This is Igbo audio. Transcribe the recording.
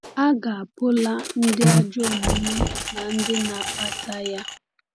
A ga-apụla ndị ajọ omume na ndị na-akpata ya.